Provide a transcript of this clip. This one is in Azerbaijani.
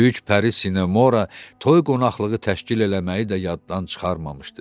Böyük Pəri Sinemora toy qonaqlığı təşkil eləməyi də yaddan çıxarmamışdı.